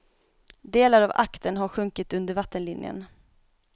Delar av aktern har sjunkit under vattenlinjen.